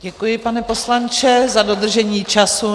Děkuji, pane poslanče, za dodržení času.